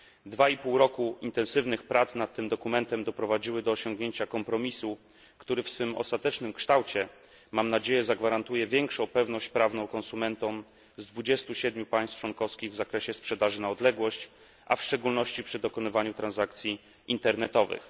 Dwa i pół roku intensywnych prac nad tym dokumentem doprowadziły do osiągnięcia kompromisu, który w swym ostatecznym kształcie mam nadzieję zagwarantuje większą pewność prawną konsumentom z 27 państw członkowskich w zakresie sprzedaży na odległość, a w szczególności przy dokonywaniu transakcji internetowych.